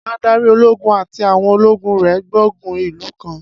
Adarí ológun àti àwọn ológun rẹ̀ gbógun ìlú kan.